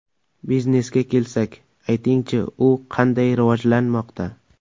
Biznesga kelsak, aytingchi, u qanday rivojlanmoqda?